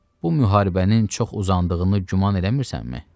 Bu müharibənin çox uzandığını güman eləmirsənmi?